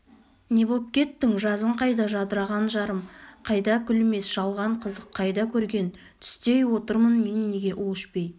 не боп кеттің жазың қайда жадыраған жарым қайда күлмес жалған қызық қайдакөрген түстей отырмын мен неге у ішпей